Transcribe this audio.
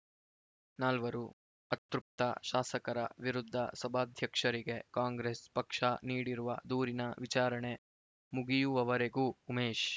ನಾಲ್ವರು ಅತೃಪ್ತ ಶಾಸಕರ ವಿರುದ್ಧ ಸಭಾಧ್ಯಕ್ಷರಿಗೆ ಕಾಂಗ್ರೆಸ್ ಪಕ್ಷ ನೀಡಿರುವ ದೂರಿನ ವಿಚಾರಣೆ ಮುಗಿಯುವವರೆಗೂ ಉಮೇಶ್